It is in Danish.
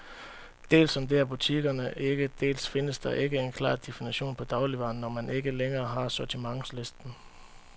Dels sondrer butikkerne ikke, dels findes der ikke en klar definition på dagligvarer, når man ikke længere har sortimentslisten.